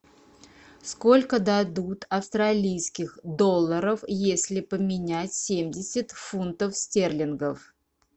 сколько дадут австралийских долларов если поменять семьдесят фунтов стерлингов